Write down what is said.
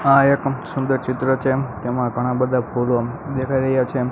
આ એક સુંદર ચિત્ર છે તેમાં ઘણા બધા ફૂલો દેખાય રહ્યા છે.